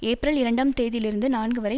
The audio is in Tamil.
ஏப்ரல் இரண்டாம் தேதியிலிருந்து நான்கு வரை